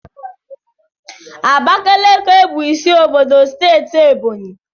Abakaliki bụ isi obodo steeti Ebọnyị